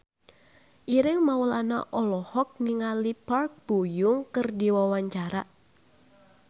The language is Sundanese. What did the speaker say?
Ireng Maulana olohok ningali Park Bo Yung keur diwawancara